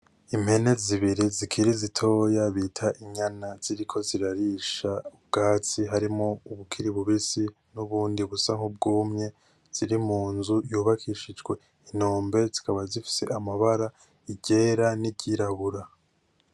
Impene zibiri zikiri zitoya bita inyana ziriko zirarisha ubgatsi harimwo ubukiri bubisi harimwo n'ubundi busa nkubgumye ziri munzu yubakishijwe inombe zikaba zifise amabara i ryera ni ryirabura.